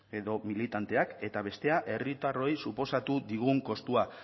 edo militanteak eta bestea herritarroi suposatu digun kostua